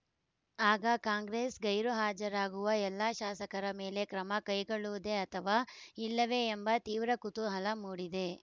ಆಗ ಕಾಂಗ್ರೆಸ್‌ ಗೈರುಹಾಜರಾಗುವ ಎಲ್ಲಾ ಶಾಸಕರ ಮೇಲೆ ಕ್ರಮ ಕೈಗೊಳ್ಳುವುದೇ ಅಥವಾ ಇಲ್ಲವೇ ಎಂಬ ತೀವ್ರ ಕುತೂಹಲ ಮೂಡಿದೆ